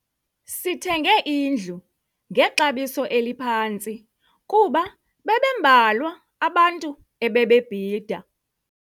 Sithenge indlu ngexabiso eliphantsi kuba bebembalwa abantu ebebebhida.